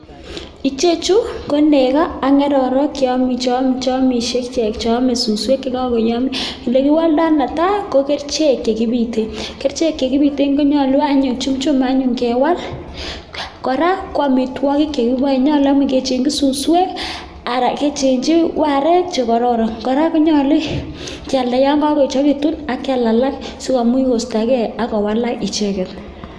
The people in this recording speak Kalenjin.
Icheju konego ak ng'ororek che amishe ichek. Ame suswek che koyomnyo, ole kiwoldo netai ko kerichek ch ekibiten. Kerichek ch ekibiten konyolu anyun kewal. Kora koamitwogik chekiboen nyolu kechengi suswek anan kechengi arek che kororon. Kora konyolu kyalda yon kogo echegitun ak kyal alak si komuch kostoge ak kowalak icheget